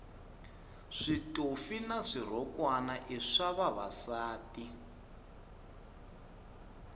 switofi na swirhokwana i swa vavasati